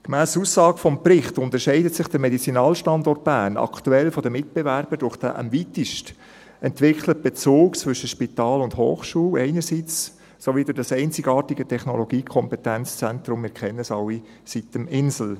Gemäss Aussage des Berichts unterscheidet sich der Medizinalstandort Bern aktuell von den Mitbewerbern durch den am weitesten entwickelten Bezug zwischen Spital und Hochschule einerseits sowie durch das einzigartige Technologiekompetenzzentrum sitem-insel – wir kennen es alle.